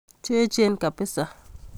Chechen kibisa